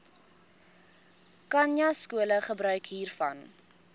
khanyaskole gebruik hiervan